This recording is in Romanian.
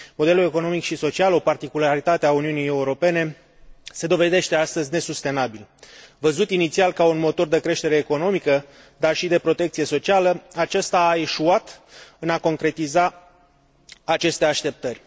Modelul economic și social, o particularitate a Uniunii Europene, se dovedește astăzi nesustenabil. Văzut inițial ca un motor de creștere economică, dar și de protecție socială, acesta a eșuat în a concretiza aceste așteptări.